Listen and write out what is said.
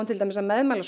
að